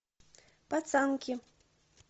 пацанки